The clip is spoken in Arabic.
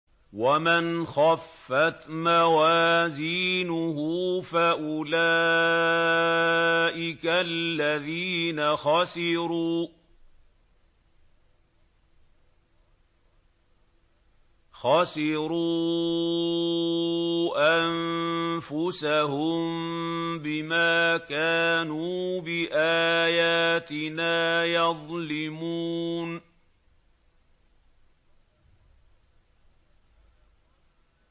وَمَنْ خَفَّتْ مَوَازِينُهُ فَأُولَٰئِكَ الَّذِينَ خَسِرُوا أَنفُسَهُم بِمَا كَانُوا بِآيَاتِنَا يَظْلِمُونَ